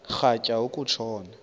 rhatya uku tshona